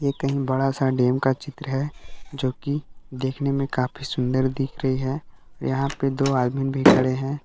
ये कहीं बड़ा सा डैम का चित्र है जो कि देखने में काफी सुंदर दिख रही है यहां पे दो आदमी भी खड़े हैं।